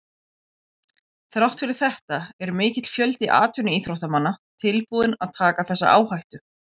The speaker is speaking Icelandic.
Þrátt fyrir þetta er mikill fjöldi atvinnuíþróttamanna tilbúinn að taka þessa áhættu.